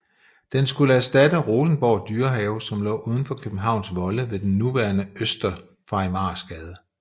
Den skulle erstatte Rosenborg Dyrehave som lå udenfor Københavns volde ved den nuværende Øster Farimagsgade